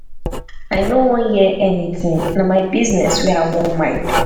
i no wan hear anything. na my business wey i wan mind